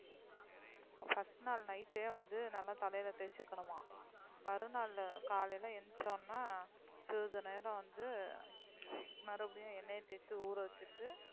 முதல் நல் night ஏ வந்து நல்லா தலைல தேச்சு ஊறவச்சு மறு நாள் காலைல எந்திருச்சு சிறிது நேரம் தலைக்கு என்னை தேய்த்து குளிக்க வேண்டும்,